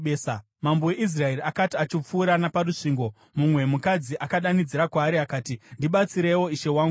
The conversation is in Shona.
Mambo weIsraeri akati achipfuura naparusvingo, mumwe mukadzi akadanidzira kwaari akati, “Ndibatsireiwo, ishe wangu mambo!”